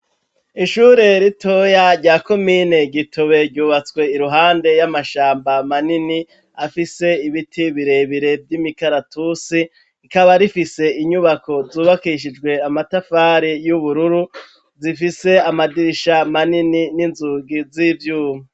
Ishure ritoya rya komine Gitobe ryubatswe iruhande yamashamba manini afise ibiti birebire vyimikaratusi, rikaba rifise inyubako zubakishijwe amatafari yubururu, zifise amadirisha minini n'inzugi zivyuma.